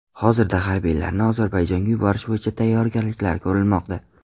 Hozirda harbiylarni Ozarbayjonga yuborish bo‘yicha tayyorgarliklar ko‘rilmoqda.